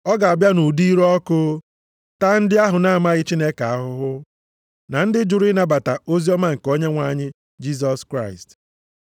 Ọ ga-abịa nʼụdị ire ọkụ taa ndị ahụ na-amaghị Chineke ahụhụ na ndị jụrụ ịnabata oziọma nke Onyenwe anyị Jisọs Kraịst.